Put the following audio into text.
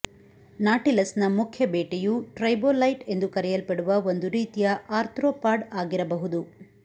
ನಾಟಿಲಸ್ನ ಮುಖ್ಯ ಬೇಟೆಯು ಟ್ರೈಲೋಬೈಟ್ ಎಂದು ಕರೆಯಲ್ಪಡುವ ಒಂದು ರೀತಿಯ ಆರ್ತ್ರೋಪಾಡ್ ಆಗಿರಬಹುದು